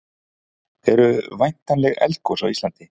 eru væntanleg eldgos á íslandi